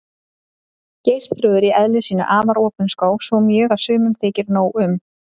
Geirþrúður í eðli sínu afar opinská, svo mjög að sumum þykir nóg um.